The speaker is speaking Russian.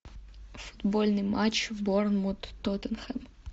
футбольный матч борнмут тоттенхэм